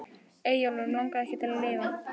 Eyjólfur Mig langaði ekki til að lifa.